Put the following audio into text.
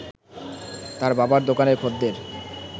তার বাবার দোকানের খদ্দের